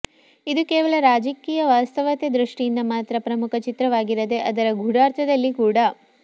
ಇದು ಕೇವಲ ರಾಜಕೀಯ ವಾಸ್ತವತೆ ದೃಷ್ಟಿಯಿಂದ ಮಾತ್ರ ಪ್ರಮುಖ ಚಿತ್ರವಾಗಿರದೇ ಅದರ ಗೂಢಾರ್ಥದಲ್ಲಿ ಕೂಡ